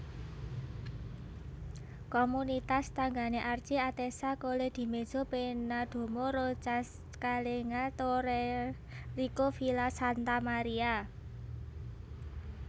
Komunitas tanggané Archi Atessa Colledimezzo Pennadomo Roccascalegna Tornareccio Villa Santa Maria